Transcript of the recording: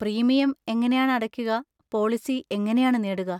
Premium എങ്ങനെയാണ് അടക്കുക, policy എങ്ങനെയാണ് നേടുക?